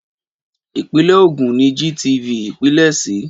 Ìpínlẹ̀ Ògùn ni GTV pilẹ̀ sí.